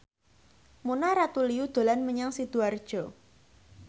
Mona Ratuliu dolan menyang Sidoarjo